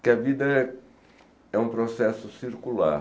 Que a vida é é um processo circular.